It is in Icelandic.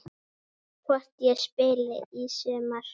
Hvort ég spili í sumar?